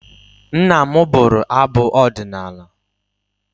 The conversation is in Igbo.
Nna m bụrụ abụ ọdịnala.